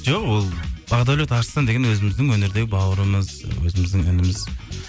жоқ ол бақдәулет арыстан деген өзіміздің өнердегі бауырымыз өзіміздің ініміз